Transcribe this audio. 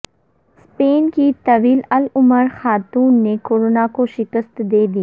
Spain کی طویل العمر خاتون نے کرونا کو شکست دے دی